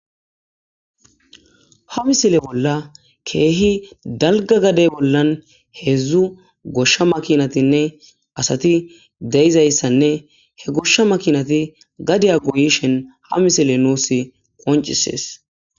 ha misile bolla keehi dalga gadey bollan heedzdzu goshsha makinatinne asati deizayssanne he goshsha makinati gadiya goyishen ha misile nuusi qoncisees